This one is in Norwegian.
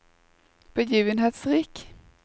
begivenhetsrik